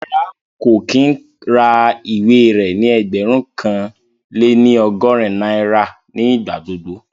Rárá, kò kí ń ra ìwé rẹ ní ẹgbẹ̀rún kan lé ní ọgọ́rin náírà ní ìgbà gbogbo